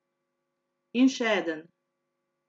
In še eden.